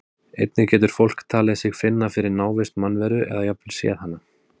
Einnig getur fólk talið sig finna fyrir návist mannveru eða jafnvel séð hana.